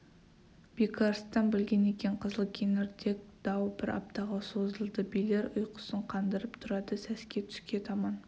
бекарыстан білген екен қызыл кеңірдек дау бір аптаға созылды билер ұйқысын қандырып тұрады сәске түске таман